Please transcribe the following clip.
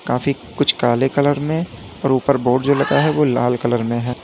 काफी कुछ काले कलर में और ऊपर बोर्ड जो लगा है वो लाल कलर में है।